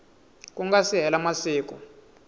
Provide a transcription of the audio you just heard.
ku nga si hela masiku